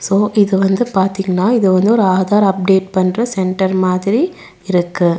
ஓ இது வந்து பாத்தீங்னா இது வந்து ஒரு ஆதார் அப்டேட் பண்ற சென்டர் மாதிரி இருக்கு.